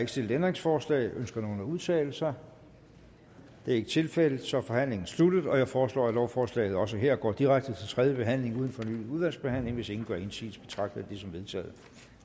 ikke stillet ændringsforslag ønsker nogen at udtale sig det er ikke tilfældet så er forhandlingen sluttet jeg foreslår at lovforslaget også her går direkte til tredje behandling uden fornyet udvalgsbehandling hvis ingen gør indsigelse betragter jeg det som vedtaget